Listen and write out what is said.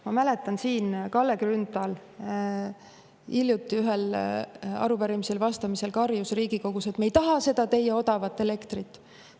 Ma mäletan, Kalle Grünthal karjus hiljuti siin Riigikogus, kui ühele arupärimisele vastati: "Me ei taha seda teie odavat elektrit!